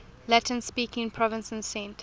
latin speaking provinces sent